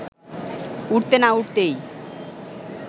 উঠতে না উঠতেই